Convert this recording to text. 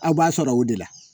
Aw b'a sɔrɔ o de la